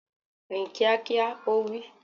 Rìn kíákíá! Ó wí.